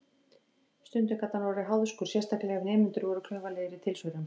Stundum gat hann orðið háðskur, sérstaklega ef nemendur voru klaufalegir í tilsvörum.